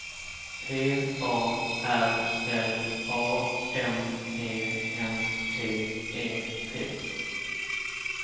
P A R L A M E N T E T